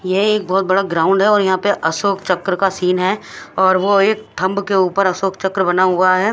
यहाँ एक बोहोत बड़ा ग्राउंड है और अशोक चक्र का सीन है और वो एक थम्ब के उपर अशोक चक्र बना हुआ है।